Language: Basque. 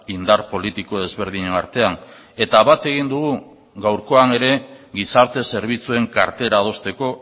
indar politiko ezberdinen artean eta bat egin dugu gaurkoan ere gizarte zerbitzuen kartera adosteko